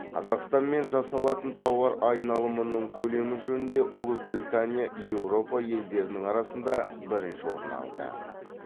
қазақстанмен жасалатын тауар айналымының көлемі жөнінде ұлыбритания еуропа елдерінің арасында бірінші орын алды